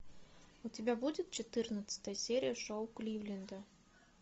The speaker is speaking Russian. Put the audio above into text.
у тебя будет четырнадцатая серия шоу кливленда